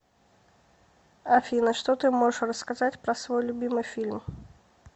афина что ты можешь рассказать про свой любимый фильм